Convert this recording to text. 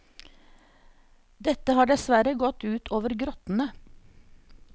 Dette har dessverre gått ut over grottene.